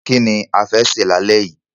Kí ni a fẹ́ sè lálẹ́ yìí?